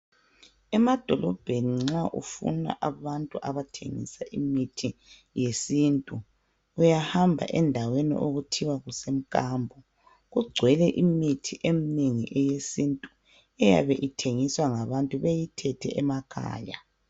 Emadolobheni nxa ufuna abantu abathengisa imithi yesintu, uyahamba endaweni okuthiwa kusemkambo. Kugcwele imithi eminengi yesintu, eyabe ithengiswa ngabantu beyithethe emakhaya.